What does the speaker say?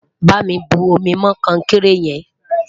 bá mí bu omi mọ konkere yen